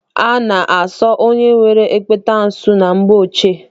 A na-asọ onye nwere ekpenta asọ na mgbe ochie.